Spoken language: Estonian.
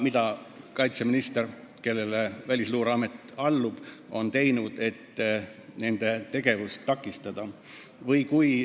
Mida kaitseminister, kellele Välisluureamet allub, on teinud, et nende tegevust takistada?